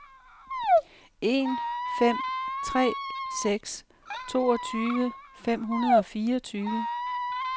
en fem tre seks toogtyve fem hundrede og fireogtyve